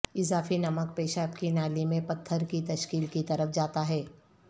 اضافی نمک پیشاب کی نالی میں پتھر کی تشکیل کی طرف جاتا ہے